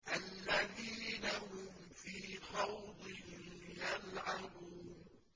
الَّذِينَ هُمْ فِي خَوْضٍ يَلْعَبُونَ